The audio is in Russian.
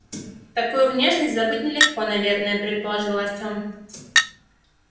такую внешность забыть нелегко наверное предположил артём